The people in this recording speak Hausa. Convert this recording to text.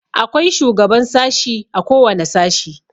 Akwai shugaban sashi a kowane sashi.